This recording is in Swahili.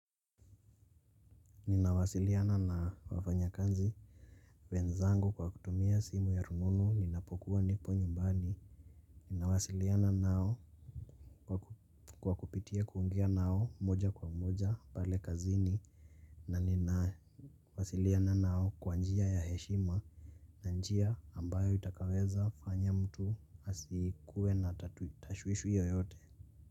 Ninawasiliana na wafanya kazi wenzangu kwa kutumia simu ya rununu ninapokuwa nipo nyumbani. Ninawasiliana nao kwa kupitia kuongea nao moja kwa moja pale kazini. Na ninawasiliana nao kwa njia ya heshima. Na njia ambayo itakaweza fanya mtu asikue na tashwishi yoyote.